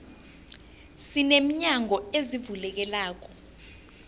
sine minyango ezivulekelako